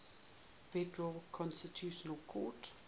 federal constitutional court